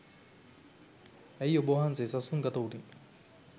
ඇයි ඔබ වහන්සේ සසුන් ගත වුණේ?